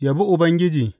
Yabi Ubangiji.